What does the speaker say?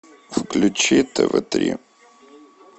включи тв три